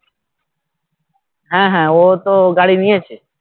হ্যাঁ হ্যাঁ ও তো গাড়ি নিয়েছে